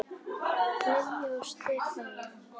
Lilja og Stefán.